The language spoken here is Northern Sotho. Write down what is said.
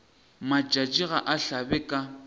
matšatši ga a hlabe ka